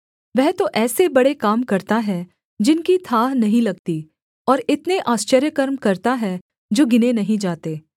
वह तो ऐसे बड़े काम करता है जिनकी थाह नहीं लगती और इतने आश्चर्यकर्म करता है जो गिने नहीं जाते